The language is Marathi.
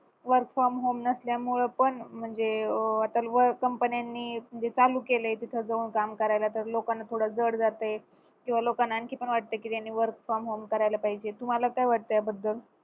work from home नसल्यामूळ पण म्हणजे अं आता company नी चालू केलंय तिथे जवळ काम करायला तर लोकांना थोडं जड जातय किंवा लोकांना आणखी पण वाटतंय की त्यांनी work from home करायला पाहिजे तुम्हाला काय वाटतं याबद्दल